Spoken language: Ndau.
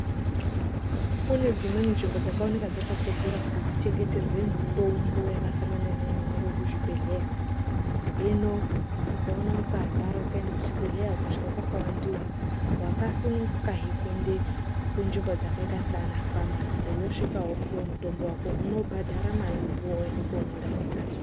Kune dzimweni nzvimbo dzakaoneka dzakakodzera kuti dzionekwe dzichengeterwe mitombo yakafanana neinoonekwa kuzvibhedhlera hino ukarwara ukaendeswa kuchibhedhlera ukasvika kwakawandiwa wakasununguka kuendawo kunzvimbo dzakaita Sana famasi wosvika wopuwa mutombo wako unobhadhara mutombo wako komwira kumbatso.